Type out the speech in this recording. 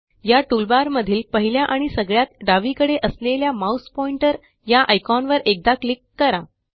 या टूलबारमधील पहिल्या आणि सगळ्यात डावीकडे असलेल्या माउस पॉइंटर या आयकॉनवर एकदा क्लिक करा